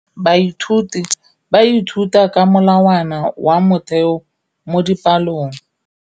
Baithuti ba ithuta ka molawana wa motheo mo dipalong.